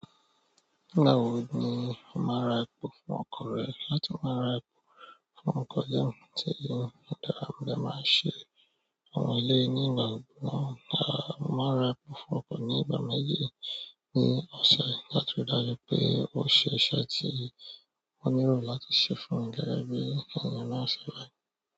Nígbà wo ni o máa ra epo fún ọkọ̀ rẹ? Láti máa ra epo fún ọkọ̀ yẹn tí o dára, mo mo ṣe àwọn ilé ní ìgbà náà. À máa ra epo fún ọkọ̀ ní ìgbà méjì ní ọ̀sẹ̀ láti rí i dájú pé ó ṣe iṣẹ́ tí mó nílò láti ṣe fún mi gẹ́gẹ́ bí emi náà ṣe náà se fe.